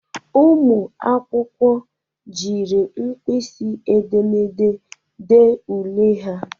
Ụmụ akwụkwọ jiri mpịsị edemede ďee ule ha.